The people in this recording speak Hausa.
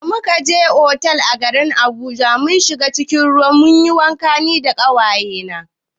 Da muka je otal a garin Abuja mun shiga cikin ruwa mun yi wanka da ƙawaye na.